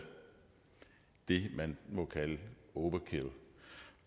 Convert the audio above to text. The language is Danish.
er det man må kalde overkill